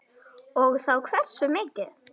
Og þá hversu mikið.